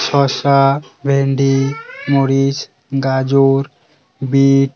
শসা ভেন্ডি মরিচ গাজর বিট --